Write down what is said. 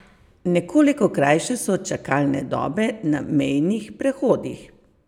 Nekoliko krajše so čakalne dobe na mejnih prehodih.